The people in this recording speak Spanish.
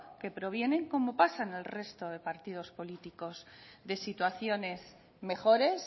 que provienen como pasa en el resto de partidos políticos de situaciones mejores